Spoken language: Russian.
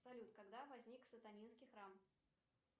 салют когда возник сатанинский храм